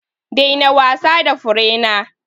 Daina wasa da furena!